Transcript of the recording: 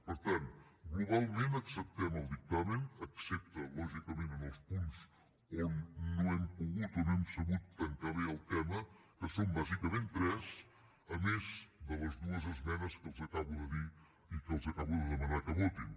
per tant globalment acceptem el dictamen excepte lògicament en els punts on no hem pogut o no hem sabut tancar bé el tema que són bàsicament tres a més de les dues esmenes que els acabo de dir i que els acabo de demanar que votin